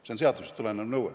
See on seadusest tulenev nõue.